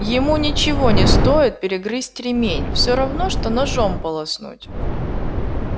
ему ничего не стоит перегрызть ремень всё равно что ножом полоснуть